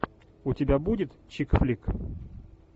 у тебя будет чик флик